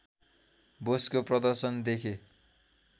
बोसको प्रदर्शन देखे